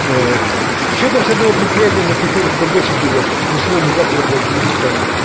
ээ ещё там с одного предприятия мне приходит бабосики блять не сегодня-завтра блять придут там